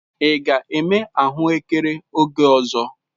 Ị ga-eme ahụekere oge ọzọ?